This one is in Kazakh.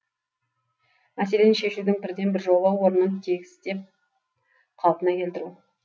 мәселені шешудің бірден бір жолы орнын тегістеп қалпына келтіру